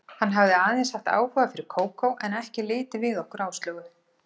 Hann hafði aðeins haft áhuga fyrir Kókó, en ekki litið við okkur Áslaugu.